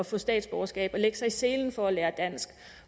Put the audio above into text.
få statsborgerskab og lægge sig i selen for at lære dansk